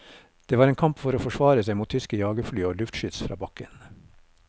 Det var en kamp for å forsvare seg mot tyske jagerfly og luftskyts fra bakken.